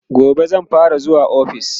gobe zan fara zuwa ofis